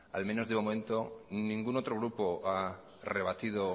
al menos de momento ningún otro grupo ha rebatido